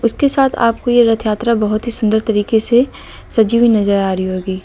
के साथ आपको यह रथ यात्रा बहुत ही सुंदर तरीके से सजी हुई नजर आ रही होगी।